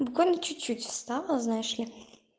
буквально чуть-чуть осталось знаешь ли